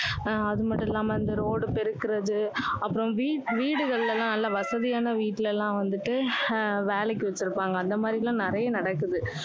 ஆஹ் அது மட்டும் இல்லாம இந்த road பெறுக்குறது, அப்புறம் வீ~ வீடுகளில எல்லாம் நல்லா வசதியான வீட்டுல எல்லாம் வந்துட்டு, ஆஹ் வேலைக்கு வச்சுருப்பாங்க. அந்த மாதிரி எல்லாம் நிறைய நடக்குது.